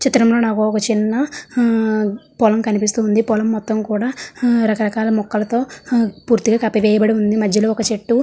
ఈ చిత్రంలో నాకు ఒక చిన్న ఆ పొలం కనిపిస్తుంది. పొలం మొత్తం కూడా ఆ రకరకాల మొక్కలతో ఆ పూర్తిగా కప్పి వేయబడి ఉంది. మధ్యలో ఒక చెట్టు --